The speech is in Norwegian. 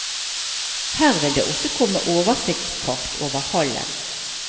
Her vil det også komme oversiktskart over hallen.